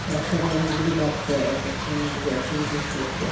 এক সাথে অনেক গুলি বাচ্চা একএ অনেক গুলি এক্টিভিটিস করেছে ।